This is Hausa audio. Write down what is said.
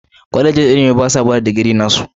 Kwalejin ilimi basa bada digiri nasu.